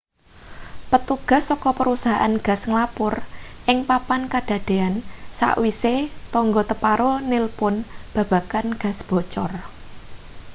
petugas saka perusahaan gas nglapur ing papan kadadean sakwise tangga teparo nilpun babagan gas bocor